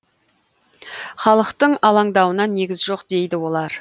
халықтың алаңдауына негіз жоқ дейді олар